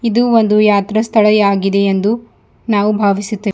ಇದು ಒಂದು ಯಾತ್ರಾ ಸ್ಥಳ ಯಾಗಿದೆ ಎಂದು ನಾವು ಭಾವಿಸುತ್ತೇ --